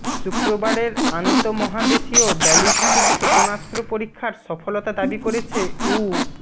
শুক্রবারের আন্তঃমহাদেশীয় ব্যালিস্টিক ক্ষেপণাস্ত্র পরীক্ষার সফলতা দাবি করেছে উ